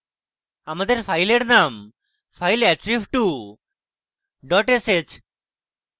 আমাদের file name fileattrib2 dot sh